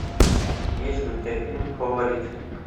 есть ли у тебя фильм фаворит